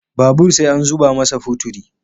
Babur sai an zuma masa future